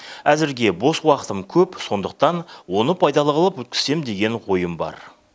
әзірге бос уақытым көп сондықтан оны пайдалы қылып өткізсем деген ойым бар